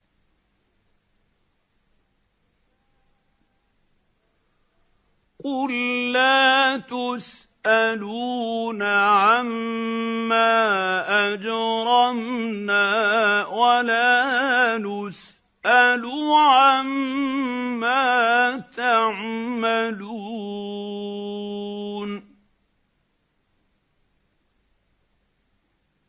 قُل لَّا تُسْأَلُونَ عَمَّا أَجْرَمْنَا وَلَا نُسْأَلُ عَمَّا تَعْمَلُونَ